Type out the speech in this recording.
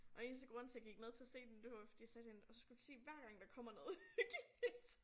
Og eneste grund til jeg gik med til at se den det var fordi jeg sagde til hende og så skal du sige hver gang der kommer noget uhyggeligt